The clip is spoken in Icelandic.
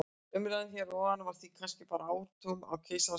Umræðan hér að ofan var því kannski bara hártogun á keisarans skeggi.